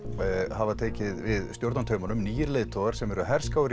hafa tekið við stjórnartaumunum leiðtogar sem eru herskáir